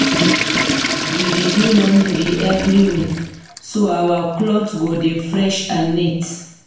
We dey do laundry every week so our clothes go dey fresh and neat.